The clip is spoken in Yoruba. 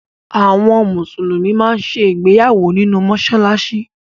Àwọn Mùsùlùmí máa ń ṣe ìgbéyàwó nínú mọ́ṣáláṣí